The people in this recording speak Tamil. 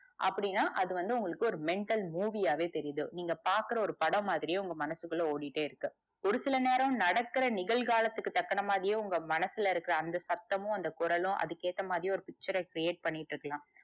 அப்டின்னா அதுவந்து உங்களுக்கு mental movie யாவே தெரிது நீங்க பாக்குற ஒரு படம் மாதிரியே உங்க மனசுக்குள்ள ஓடிட்டே இருக்கு ஒரு சில நேரம் நடக்கற நிகழ்காலத்துக்கு தக்கன மாதிரியே உங்க மனசுல இருக்க அந்த சத்தமும் அந்த குரலும் அதுக்கு ஏத்த மாதிரியே ஒரு picture ர create பண்ணிட்டு இருக்கலாம்.